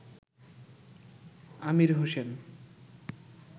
Amir Hossain